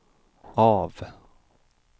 av